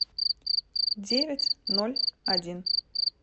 девять ноль один